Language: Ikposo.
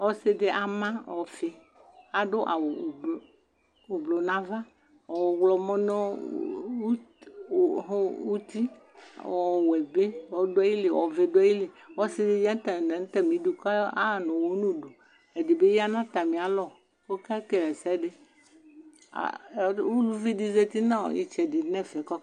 Ɔsidi ama ɔfi Adʋ awu ublu nava, ɔɣlɔmɔ nʋ ʋʋʋ oɣo utiƆwɛ bi ɔduayili, ɔvɛ bi ɔduayiliƆsidi yanatamidu kaɣanuwɔ nuduɛdibi yanatamialɔkokekelɛsɛdiUluvi di zati nɔɔ itsɛdi nɛfɛ koke